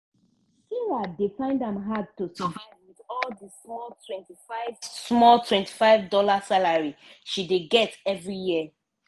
sarah dey find am hard to survive with di small 25 small 25 dollar salary she dey get every year.